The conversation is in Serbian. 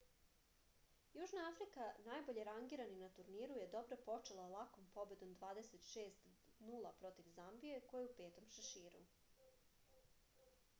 јужна африка најбоље рангирани на турниру је добро почела лаком победом 26 : 0 против замбије која је у 5. шеширу